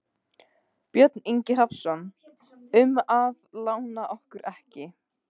Björn Ingi Hrafnsson: Um að lána okkur ekki?